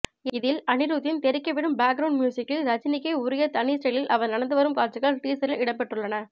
இதில் அனிருத்தின் தெறிக்கவிடும் பேக்ரவுண்டு மியூசிக்கில் ரஜினிக்கே உரிய தனி ஸ்டைலில் அவர் நடந்து வரும் காட்சிகள் டீசரில் இடம்பெற்றுள்ளன